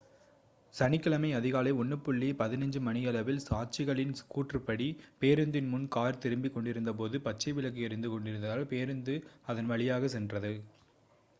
சனிக்கிழமை அதிகாலை 1:15 மணியளவில் சாட்சிகளின் கூற்றுப்படி பேருந்தின் முன் கார் திரும்பிக் கொண்டிருந்தபோது பச்சை விளக்கு எரிந்து கொண்டிருந்ததால் பேருந்து அதன் வழியாக சென்றது